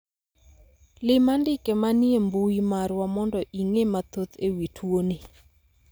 lim andike manie mbui marwa mondo ing'e mathoth ewi tuo ni